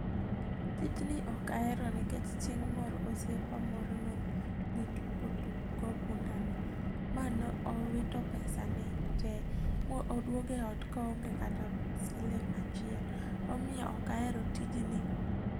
Tijni ok ahero nikech chieng' moro osiepa moro nodhi tugo tuk go punda ni. Ma nowito pesane tee, moduogo ot koonge kata sling' achiel. Omiyo ok ahero tijni.